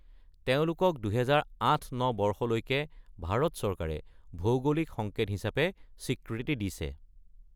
তেওঁলোকক ২০০৮-০৯ বৰ্ষলৈকে ভাৰত চৰকাৰে ভৌগোলিক সংকেত হিচাপে স্বীকৃতি দিছে।